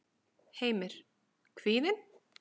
Heimir: Kvíðinn?